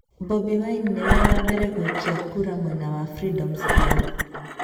Bobi Wine nĩ we wa mbere gũikia kura mwena wa Freedom Square.